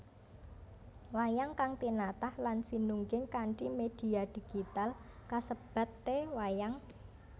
Wayang kang tinatah lan sinungging kanthi média digital kasebat e wayang